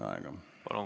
Palun!